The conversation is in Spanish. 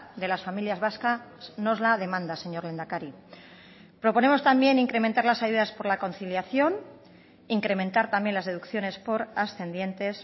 de las familias vascas nos la demanda señor lehendakari proponemos también incrementar las ayudas por la conciliación incrementar también las deducciones por ascendientes